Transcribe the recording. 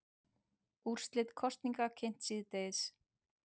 Úrslit kosninga kynnt síðdegis